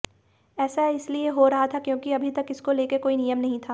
ऐसा इसलिए हो रहा था क्योंकि अभी तक इसको लेकर कोई नियम नही था